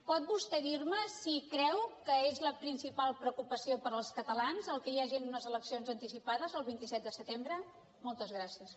pot vostè dir me si creu que és la principal preocupació per als catalans que hi hagin unes eleccions anticipades el vint set de setembre moltes gràcies